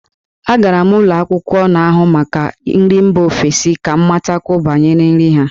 Agara m ụlọ akwụkwọ n'ahụ maka nri mba ofesi ka m matakwuo banyere nri ha.